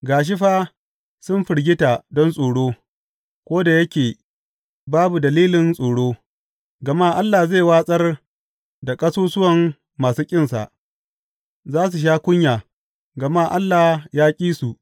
Ga shi fa, sun firgita don tsoro, ko da yake babu dalilin tsoro, gama Allah zai watsar da ƙasusuwan masu ƙinsa, za su sha kunya, gama Allah ya ƙi su.